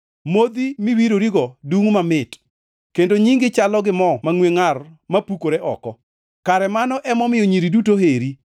Modhi miwirorigo dungʼ mamit; kendo nyingi chalo gi mo mangʼwe ngʼar ma pukore oko. Kare mano emomiyo nyiri duto oheri!